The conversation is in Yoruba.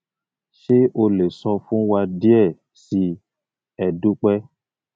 ṣe o le sọ fun wa diẹ sii e dupe